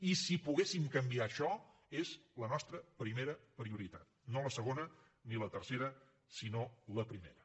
i si poguéssim canviar això seria la nostra primera prioritat no la segona ni la tercera sinó la primera